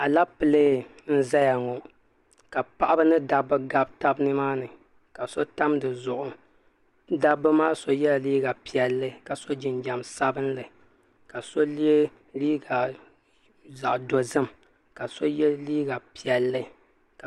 Aleepile n-zaya ŋɔ ka paɣiba ni dabba gabi taba ni maa ni ka so tam di zuɣu dabba maa so yɛla liiga piɛlli ka so jinjam sabinli ka so ye liiga zaɣ' dozim ka so ye liiga piɛlli